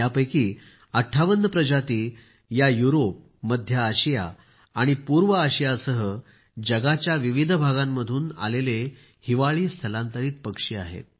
यापैकी 58 प्रजाती या युरोप मध्य आशिया आणि पूर्व आशियासह जगाच्या विविध भागांमधून आलेले हिवाळी स्थलांतरित पक्षी आहेत